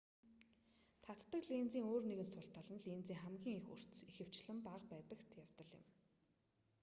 татдаг линзийн өөр нэгэн сул тал нь линзийн хамгийн их өрц хурд ихэвчлэн бага байдаг явдал юм